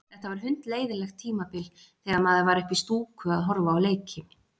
Þetta var hundleiðinlegt tímabil þegar maður var uppi í stúku að horfa á leiki.